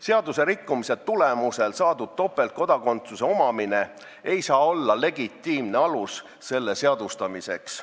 Seaduse rikkumise tulemusel saadud topeltkodakondsus ei saa olla legitiimne alus selle seadustamiseks.